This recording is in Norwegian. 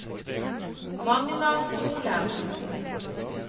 Magna Solem